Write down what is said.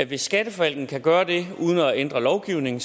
hvis skatteforvaltningen kan gøre det uden at ændre lovgivningen